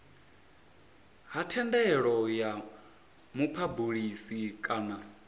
ha thendelo ya muphabulisi kana